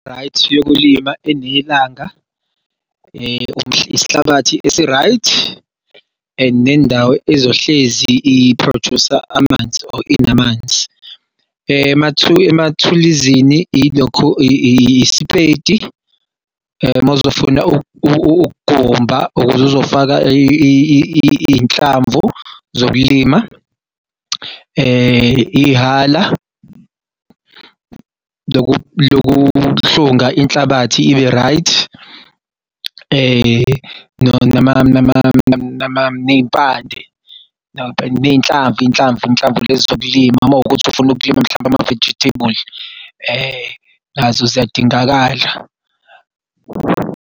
Right yokulima enelanga isihlabathi esi-right and nendawo ezohlezi i-produce-a amanzi or inamanzi. Emathuluzini ilokho isipedi mawuzofuna ukugumba ukuze uzofaka iy'nhlamvu zokulima, ihhala lokuhlunga inhlabathi ibe-right ney'mpande iy'nhlamvu inhlamvu lezi zokulima uma kuwukuthi ufuna ukulima mhlawumbe ama-vegetable nazo ziyadingakala.